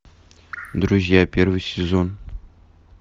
друзья первый сезон